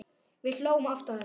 Við hlógum oft að þessu.